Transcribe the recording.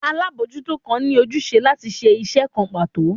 alabojuto kan ni ojúsẹ latí ṣe iṣẹ kán pato